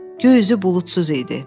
Göy üzü buludsuz idi.